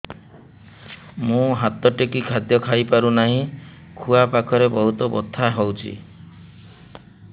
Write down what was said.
ମୁ ହାତ ଟେକି ଖାଦ୍ୟ ଖାଇପାରୁନାହିଁ ଖୁଆ ପାଖରେ ବହୁତ ବଥା ହଉଚି